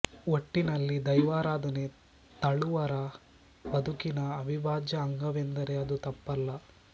ಒಟ್ಟಿನಲ್ಲಿ ದೈವಾರಾಧನೆ ತಳುವರ ಬದುಕಿನ ಅವಿಭಾಜ್ಯ ಅಂಗವೆಂದರೆ ಅದು ತಪ್ಪಲ್ಲ